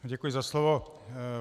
Děkuji za slovo.